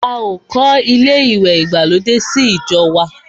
A ò kọ́ ilé ìwẹ̀ ìgbàlódé sí ìjọ wa.